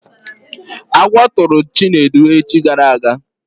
Agwọ tụrụ Chinedu echi gara aga